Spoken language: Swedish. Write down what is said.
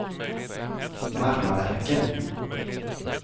Marmaverken